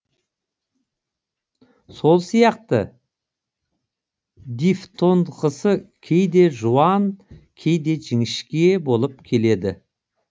сол сияқты дифтонғысы кейде жуан кейде жіңішке болып келеді